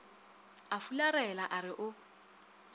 a fularela a re o